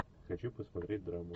хочу посмотреть драму